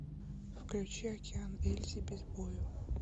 включи океан ельзи без бою